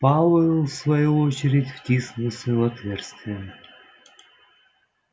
пауэлл в свою очередь втиснулся в отверстие